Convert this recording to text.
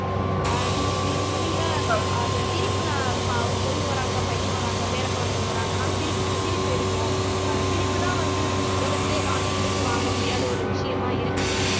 ஆஹ் நீங்க நீங்க சொன்னீங்க அந்த சிரிப்பு நான் இப்ப அவங்க பொண்ணு வர்றாங்க பையன் வர்றாங்க பேரக்குழந்தைங்க வர்றாங்கன்னா சிரிப் சிரிப்பு இருக்கும் ஆஹ் சிரிப்புதான் வந்து உலகத்திலேயே காசு குடுத்து வாங்க முடியாத ஒரு விஷயமா இருக்கு